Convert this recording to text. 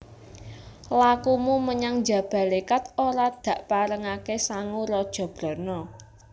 Lakumu menyang Jabalékat ora dakparengaké sangu raja brana